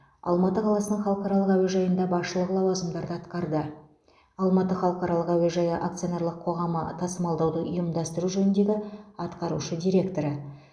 алматы қаласының халықаралық әуежайында басшылық лауазымдарды атқарды алматы халықаралық әуежайы акционерлік қоғамы тасымалдауды ұйымдастыру жөніндегі атқарушы директоры